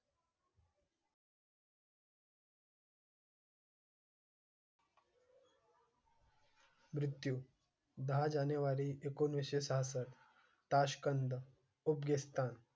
मृत्यु दहा जानेवारी एकोणीस छप्पष्ट ताश्कंद, उझबेकिस्तान.